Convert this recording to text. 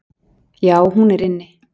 """Já, hún er inni."""